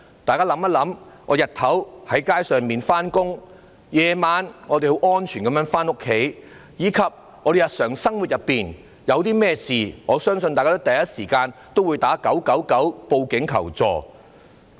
大家想一想，我們白天走在街上，夜晚我們安全回到家中，以及在日常生活中，遇到甚麼問題的時候，我相信大家第一時間會致電999報警求助。